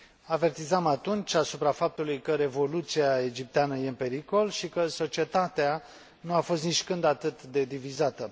Avertizam atunci asupra faptului că revoluția egipteană este în pericol și că societatea nu a fost nicicând atât de divizată.